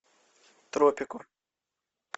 тропико